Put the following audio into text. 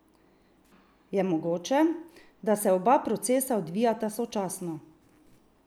Je mogoče, da se oba procesa odvijata sočasno?